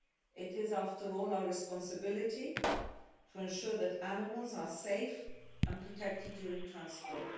It is, after all, our responsibility to ensure that animals are safe and protected during transport.